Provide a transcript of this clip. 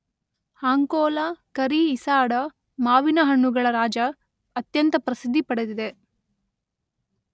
ಅಂಕೋಲಾ ಕರಿ ಈಸಾಡ, ಮಾವಿನ ಹಣ್ಣುಗಳ ರಾಜ ಅತ್ಯಂತ ಪ್ರಸಿದ್ದಿ ಪಡೆದಿದೆ.